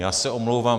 Já se omlouvám.